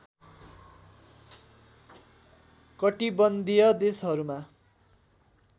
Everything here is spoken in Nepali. कटिबन्धीय देशहरूमा